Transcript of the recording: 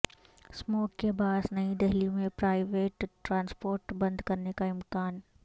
smog کے باعث نئی دہلی میں پرائیویٹ ٹرانسپورٹ بند کرنے کا امکان